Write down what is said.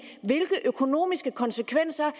hvilke økonomiske konsekvenser